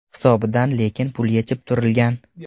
Hisobidan lekin pul yechib turilgan.